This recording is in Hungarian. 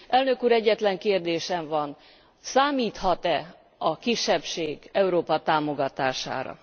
Elnök úr, egyetlen kérdésem van számíthat e a kisebbség Európa támogatására?